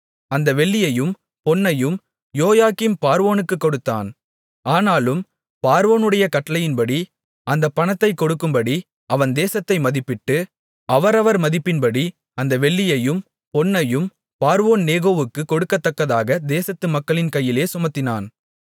அந்த வெள்ளியையும் பொன்னையும் யோயாக்கீம் பார்வோனுக்குக் கொடுத்தான் ஆனாலும் பார்வோனுடைய கட்டளையின்படி அந்தப் பணத்தைக் கொடுக்கும்படி அவன் தேசத்தை மதிப்பிட்டு அவரவர் மதிப்பின்படி அந்த வெள்ளியையும் பொன்னையும் பார்வோன்நேகோவுக்குக் கொடுக்கத்தக்கதாக தேசத்து மக்களின் கையிலே சுமத்தினான்